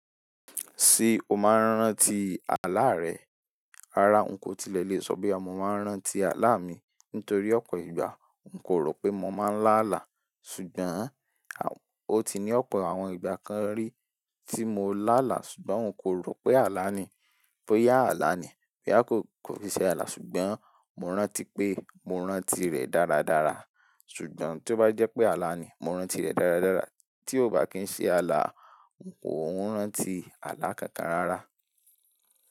Ṣé o máa ń rántí àlá rẹ? Rárá, n kò tilẹ̀ lè sọ bo ya mo máa ń rántí àlá mi nítorí ọ̀pọ̀ ìgbà n kò rò pé mo máa ń lá àlá. Ṣùgbọ́n, o ti ní ọ̀pọ̀ àwọn ìgbà kan rí tí mo lá àlá ṣùgbọ́n n kò rò pé àlá ni, pé a àlá ni. Pé a kò fi ṣe àlá ṣùgb́n mo rántí pé mo rántí rẹ̀ dáradára. Ṣùgbọ́n tí ó bá jẹ́ pé àlá ni, mo rántí rẹ̀ dáradára. Tí ó bá kì ń ṣe àlá, n kò ń rántí àlá kankan rárá.